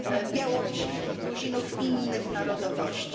Białorusinów, Gruzinów i innych narodowości.